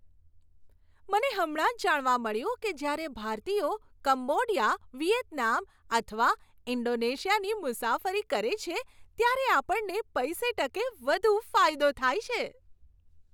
મને હમણાં જ જાણવા મળ્યું કે જ્યારે ભારતીયો કંબોડિયા, વિયેતનામ અથવા ઈન્ડોનેશિયાની મુસાફરી કરે છે ત્યારે આપણને પૈસે ટકે વધુ ફાયદો થાય છે.